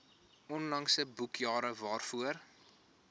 onlangse boekjare waarvoor